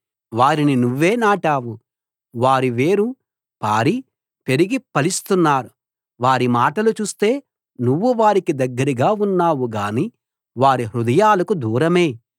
వారిని నువ్వే నాటావు వారు వేరు పారి పెరిగి ఫలిస్తున్నారు వారి మాటలు చూస్తే నువ్వు వారికి దగ్గరగా ఉన్నావు గానీ వారి హృదయాలకు దూరమే